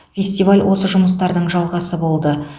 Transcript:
фестиваль осы жұмыстардың жалғасы болды